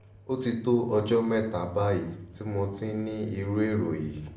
ó ti tó ọjọ́ mẹ́ta báyìí tí mo ti ń ní irú èrò yìí